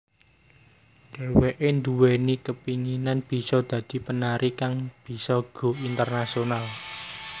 Dheweké nduweni kepinginan bisa dadi penari kang bisa go internasional